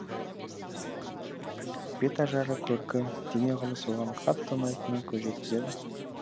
бет ажары көркі дене құрылысы оған қатты ұнайтынына көз жеткізеді